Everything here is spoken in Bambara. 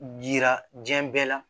Yira diɲɛ bɛɛ la